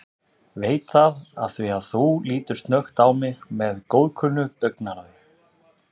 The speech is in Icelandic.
Veit það afþvíað þú lítur snöggt á mig með góðkunnu augnaráði.